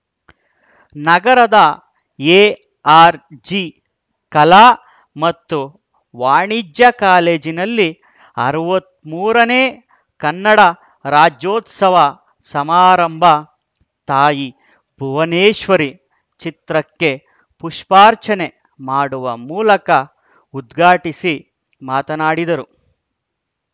ನಗರದ ಎಆರ್‌ಜಿಕಲಾ ಮತ್ತು ವಾಣಿಜ್ಯ ಕಾಲೇಜಿನಲ್ಲಿ ಅರವತ್ತ್ ಮೂರನೇ ಕನ್ನಡ ರಾಜ್ಯೋತ್ಸವ ಸಮಾರಂಭ ತಾಯಿ ಭುವನೇಶ್ವರಿ ಚಿತ್ರಕ್ಕೆ ಪುಷ್ಪಾರ್ಚನೆ ಮಾಡುವ ಮೂಲಕ ಉದ್ಘಾಟಿಸಿ ಮಾತನಾಡಿದರು